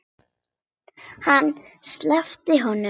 Hann sleppti honum!